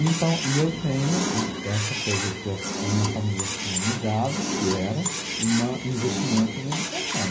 Então, e eu tenho de essa coisa que a minha família tinha me dado, que era uma, o investimento em educação.